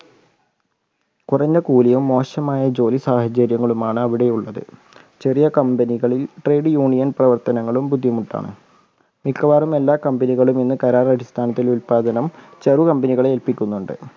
കുറഞ്ഞ കൂലിയും മോശമായ ജോലി സാഹചര്യങ്ങളുമാണ് അവിടെയുള്ളത്. ചെറിയ company കളിൽ trade union പ്രവർത്തനങ്ങളും ബുദ്ധിമുട്ടാണ്. മിക്കവാറും എല്ലാ company കളും ഇന്ന് കരാർ അടിസ്ഥാനത്തിൽ ഉൽപാദനം ചെറു company കളെ ഏൽപ്പിക്കുന്നുണ്ട്.